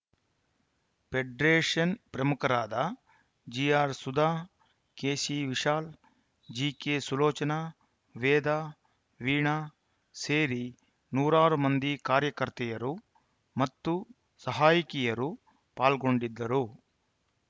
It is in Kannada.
ಫೆಡರೇಷನ್‌ ಪ್ರಮುಖರಾದ G R Sudha K C Vishal G K Sulochana Veda Veena ಸೇರಿ ನೂರಾರು ಮಂದಿ ಕಾರ್ಯಕರ್ತೆಯರು ಮತ್ತು ಸಹಾಯಕಿಯರು ಪಾಲ್ಗೊಂಡಿದ್ದರು